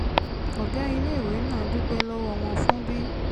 ọ̀gá iléèwé náà dúpẹ́ lọ́wọ́ wọn fún bí